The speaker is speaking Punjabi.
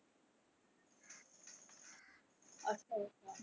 ਅੱਛਾ ਅੱਛਾ।